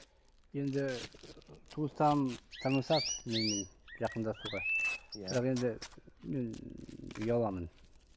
енді туыстарым тырмысады менімен жақындасуға бірақ енді мен ұяламын